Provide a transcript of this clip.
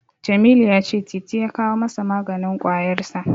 Jamilu ya cewa Titi ya kawo masa maganin ƙwayarsa.